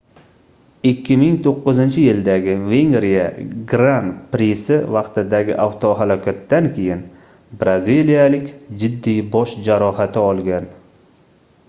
2009-yildagi vengriya gran prisi vaqtidagi avtohalokatdan keyin braziliyalik jiddiy bosh jarohati olgan